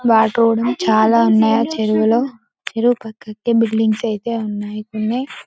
చాలా ఉన్నాయి ఆ చెరువులో చెరువు పక్కకి బిల్డింగ్ అయితే ఉన్నాయి కొన్ని.